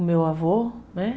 O meu avô, né?